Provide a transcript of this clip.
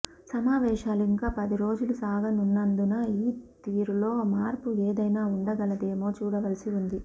సమావేశాలు ఇంకా పది రోజులు సాగనున్నందున ఆ తీరులో మార్పు ఏదైనా ఉండగలదేమో చూడవలసి ఉంది